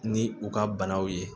Ni u ka banaw ye